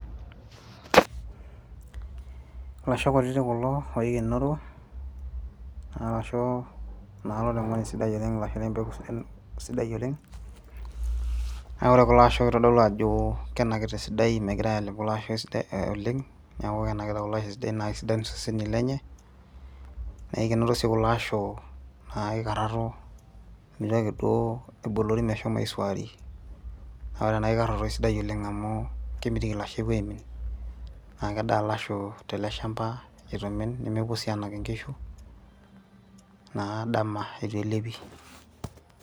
Ilasho kutitik kulo oikenoro, arashu naa loloing'oni sidai oleng' ilasho lempeku sidai oleng',na ore kulasho kitodolu ajo kenakita esidai, megirai alep kulo asho oleng',neeku kenakita kulo asho esidai na kesidain iseseni lenye, nekinoto si kulasho naa kikarraro, mitoki duo ebolori meshomo aisuari. Na ore ena kikarraro kesidai oleng' amu kemitiki lasho epuo aimin, na kedaa lasho tele shamba itu imin nemepuo si anak inkishu, naa dama eitu elepi.